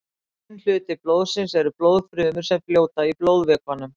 Hinn hluti blóðsins eru blóðfrumur sem fljóta í blóðvökvanum.